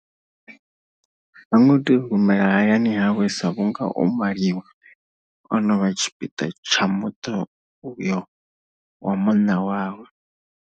Ha ngo tea u humela hayani hawe sa vhunga o maliwa, o no vha tshipiḓa tsha muṱo uyo wa munna wawe.